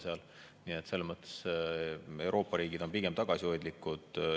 Selles mõttes on Euroopa riigid pigem tagasihoidlikud.